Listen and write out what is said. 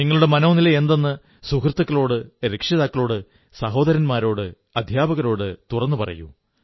നിങ്ങളുടെ മനോനിലയെന്തെന്ന് സുഹൃത്തുക്കളോട് രക്ഷിതാക്കളോട് സഹോദരന്മാരോട് അധ്യാപകരോട് തുറന്നു പറയൂ